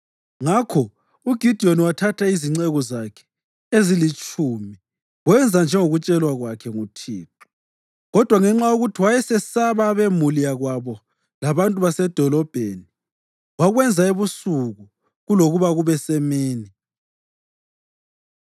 Ngakho uGidiyoni wathatha izinceku zakhe ezilitshumi wenza njengokutshelwa kwakhe nguThixo. Kodwa ngenxa yokuthi wayesesaba abemuli yakwabo labantu basedolobheni, wakwenza ebusuku kulokuba kube semini.